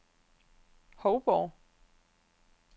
Hovborg